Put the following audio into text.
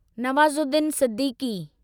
Nawazuddin Siddiqui